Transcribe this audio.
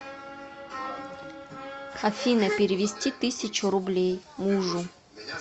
афина перевести тысячу рублей мужу